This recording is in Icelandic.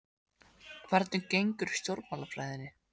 Hvernig gengur í stjórnmálafræðinni?